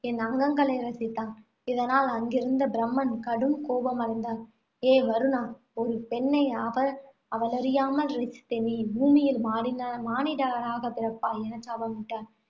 என் அங்கங்களை ரசித்தான். இதனால், அங்கிருந்த பிரம்மன் கடும் கோபமடைந்தார். ஏ வருணா ஒரு பெண்ணை அவள் அவளறியாமல் ரசித்த நீ பூமியில் மானிடனாகப் பிறப்பாய் என சாபமிட்டார்.